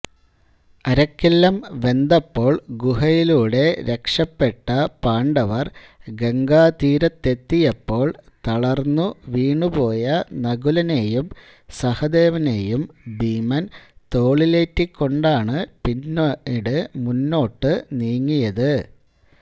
അരക്കില്ലം വെന്തപ്പോൾ ഗുഹയിലൂടെ രക്ഷപെട്ട പാണ്ഡവർ ഗംഗാതീരത്തെത്തിയപ്പോൾ തളർന്നുവീണുപോയ നകുലനെയും സഹദേവനെയും ഭീമൻ തോളിലേറ്റിക്കൊണ്ടാണ് പിന്നീട് മുന്നോട്ടുനീങ്ങിയത്